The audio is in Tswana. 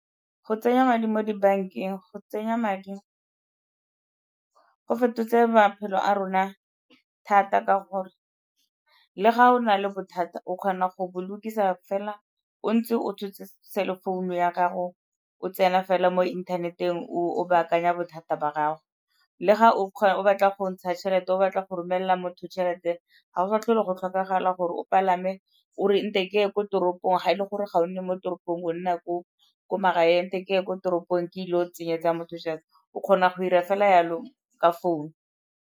Go tsenya madi mo dibankeng, go tsenya madi go fetotse maphelo a rona thata ka gore le ga o na le bothata o kgona go bo lokisa fela o ntse o tshotse cell-e founu ya gago o tsena fela mo inthaneteng o baakanya bothata ba gago. Le ga o batla go ntsha tšhelete, o batla go romelela motho tšhelete ga go sa tlhole go tlhokagala gore o palame o re nte ke ye ko toropong ga e le gore ga o nne mo toropong o nna ko magaeng, nte ke ye ko toropong ke ile o tsenyetsa motho tšhelete, o kgona go 'ira fela yalo ka founu.